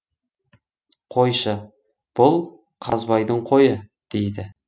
қойшы бұл қазбайдың қойы дейді